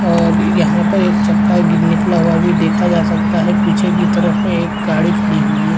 और यहाँ पर एक चक्का निकला हुआ भी देखा जा सकता है पीछे की तरफ एक गाड़ी खड़ी हुई हैं।